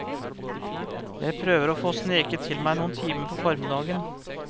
Jeg prøver å få sneket til meg noen timer på formiddagen.